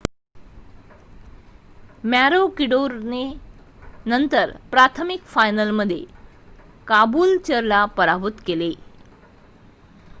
मॅरोकिडोरने नंतर प्राथमिक फायनलमध्ये काबूलचरला पराभूत केले